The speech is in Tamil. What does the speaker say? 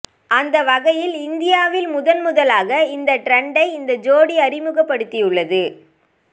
அந்த வகையில் இந்தியாவில் முதன் முதலாக இந்த டிரண்டை இந்த ஜோடி அறிமுகப்படுத்தியுள்ளது